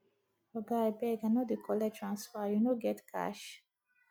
oga abeg i no dey collect transfer you no get cash